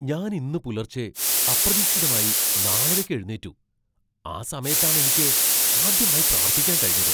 ഞാൻ ഇന്ന് പുലർച്ചെ അപ്രതീക്ഷിതമായി നാലരയ്ക്ക് എഴുന്നേറ്റു, ആ സമയത്താണ് എനിക്ക് ആദ്യമായി പ്രാർത്ഥിക്കാൻ കഴിഞ്ഞത്.